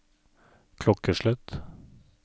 klokkeslett